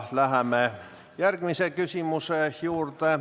Läheme järgmise küsimuse juurde.